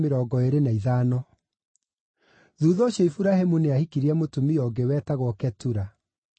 Thuutha ũcio Iburahĩmu nĩ aahikirie mũtumia ũngĩ, wetagwo Ketura.